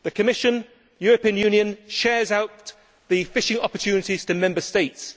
The Commission the European Union shares out the fishing opportunities to Member States.